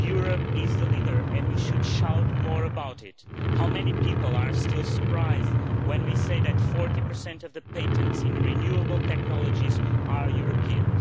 Europe is the leader and we should shout more about it. How many people are still surprised when we say that 40 of the patents in renewable technologies are European?